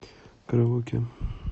караоке